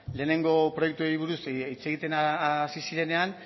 lehenengo proiektuei buruz hitz egiten hasi zirenean